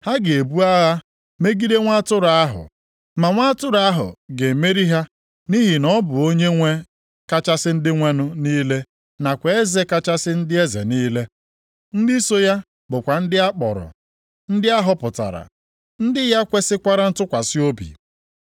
Ha ga-ebu agha megide Nwa Atụrụ ahụ, ma Nwa Atụrụ ahụ ga-emeri ha nʼihi na ọ bụ Onyenwe kachasị ndị nwenụ niile nakwa Eze kachasị ndị eze niile. Ndị so ya bụkwa ndị a kpọrọ, na ndị a họpụtara, ndị ya kwesikwara ntụkwasị obi.”